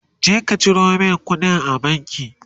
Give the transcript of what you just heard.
je ka Ciro min kuɗi a banki!